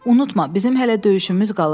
Unutma, bizim hələ döyüşümüz qalıb.